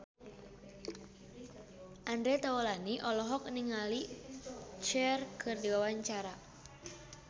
Andre Taulany olohok ningali Cher keur diwawancara